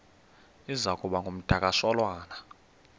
iza kuba ngumdakasholwana